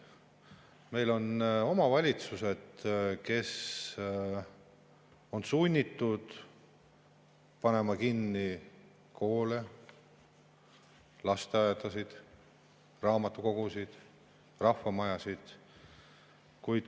Meil on omavalitsused, kes on sunnitud panema kinni koole, lasteaedasid, raamatukogusid, rahvamajasid.